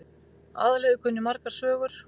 Aðalheiður kunni margar sögur.